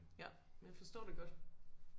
Ja men jeg forstår det godt